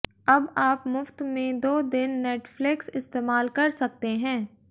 अब आप मुफ्त में दो दिन नेटफ्लिक्स इस्तेमाल कर सकते हैं